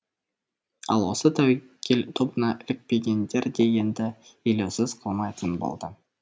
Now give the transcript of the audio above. ал осы тәуекел тобына ілікпегендер де енді елеусіз қалмайтын болды